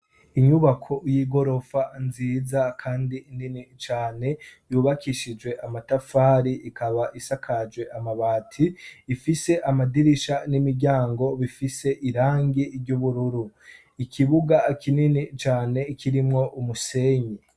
Inyubako y'igorofa nziza kandi inini cane yubakishijwe amatafari ikaba isakaje amabati ifise amadirisha n'imiryango bifise irangi ry'ubururu, ikibuga kinini cane kirimwo umusenyi.